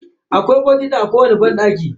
Akwai bokiti a kowani bayan gida.